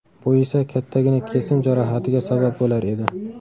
Bu esa kattagina kesim jarohatiga sabab bo‘lar edi.